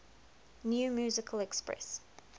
new musical express